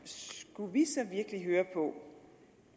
skulle vi så virkelig høre på